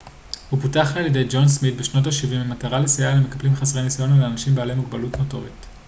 הוא פותח על ידי ג'ון סמית' בשנות השבעים במטרה לסייע למקפלים חסרי ניסיון או לאנשים בעלי מגבלות מוטוריות